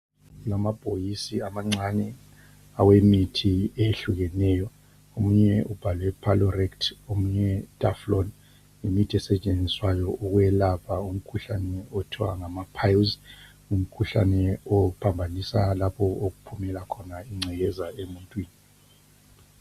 Kulamabhokisi amancane awemithi eyehlukeneyo omunye ubhalwe Piloret omunye daflon. Yimithi esetshenziswayo ukwelapha umkhuhlane okuthwa ngama piles. Umkhuhlane ophambanisa lapho okuphumela khona ingcekeza emuntwini.